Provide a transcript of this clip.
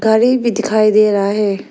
घड़ी भा दिखाई दे रहा है।